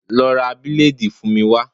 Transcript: Lọ ra bileedi fún mi wá.